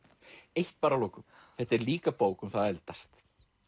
eitt bara að lokum þetta er líka bók um það að eldast